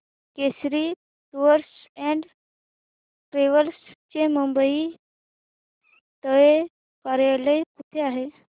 Kesari tours and travels चे मुंबई तले कार्यालय कुठे आहे